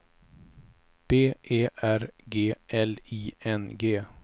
B E R G L I N G